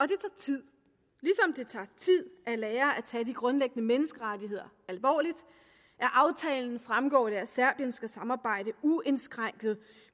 det tager tid at lære at tage de grundlæggende menneskerettigheder alvorligt af aftalen fremgår det at serbien skal samarbejde uindskrænket